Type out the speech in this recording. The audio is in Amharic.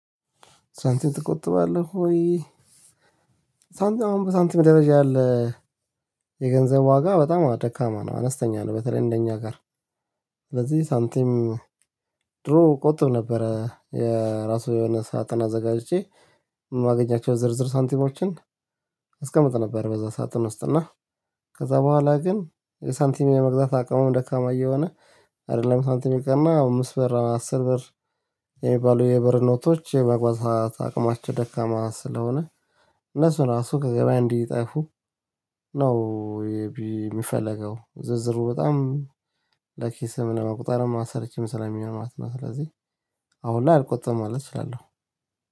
ሳንቲም ትቆጥባለህ ወይ? ሳንቲም አሁን በሳንቲም ደረጃ ያለ የገንዘብ ዋጋ በጣም ደካማ ነው አነስተኛ ነው በተለይ እንደኛ ጋር በዚህ ሳንቲም። ድሮ ቆጥብ ነበረ የራሱ የሆነ ሳጥን አዘጋጅቼ የማገኛቸው ዝርዝር ሳንቲሞችን ነበር። በዛ ሰዓት ውስጥ እና ከዛ በኋላ ግን የሳንቲም የመግዛት አቅሙን ደካማ እየሆነ አይደለም ሳንቲም የቀና አምስት በር አስር በር የሚባሉ የበር ኖቶች የመግዛት አቅማቸው ደካማ ስለሆነ እነሱ ራሱ ከገበያ እንዲጠፉ ነው። ዝርዝሩ በጣም ለኪስህ ለማቆጣር አላማ ሰርቼም ስለሚኛው ማለት ነው። ስለዚህ አሁን ላይ አልቆጠመም ማለት እችላለሁ